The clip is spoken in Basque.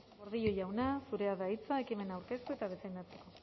gordillo jauna zurea da hitza ekimena aurkeztu eta defendatzeko